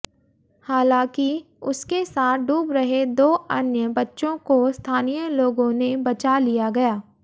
हालांकि उसके साथ डूब रहे दो अन्य बच्चों को स्थानीय लोगों ने बचा लिया गया